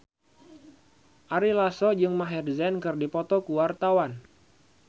Ari Lasso jeung Maher Zein keur dipoto ku wartawan